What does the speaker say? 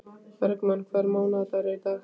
Bergmann, hvaða mánaðardagur er í dag?